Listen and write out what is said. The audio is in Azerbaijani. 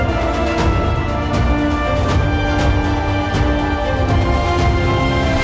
Təəssüf ki, heç kim hələ ki, bu texnologiyanın nə qədər güclü olduğunu anlamır.